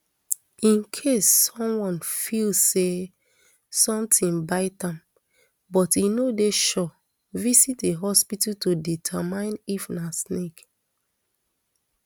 in case someone feel say sometin bite am but e no dey sure visit a hospital to determine if na snake